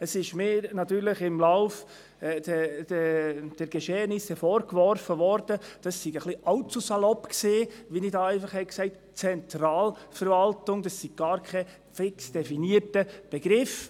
Es wurde mir natürlich im späteren Verlauf vorgeworfen, meine Verwendung von «Zentralverwaltung» sei allzu salopp gewesen, das sei gar kein definierter Begriff.